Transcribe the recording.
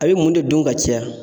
A bɛ mun de dun ka caya